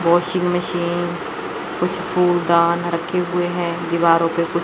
washing machine कुछ कूड़दान रखे हुए है दीवारों पे कु--